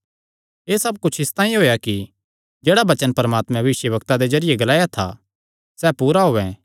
एह़ सब कुच्छ इसतांई होएया कि जेह्ड़ा वचन परमात्मे भविष्यवक्ता दे जरिये ग्लाया था सैह़ पूरा होयैं